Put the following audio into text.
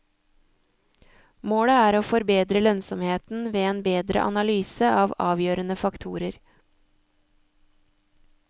Målet er å forbedre lønnsomheten ved en bedre analyse av avgjørende faktorer.